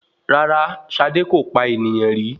Rárá, Ṣadé kò pa ènìyàn rí.